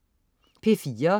P4: